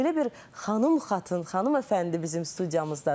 Belə bir xanım-xatın, xanım-əfəndi bizim studiyamızdadır.